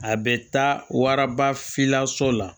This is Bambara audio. A bɛ taa waraba filanan so la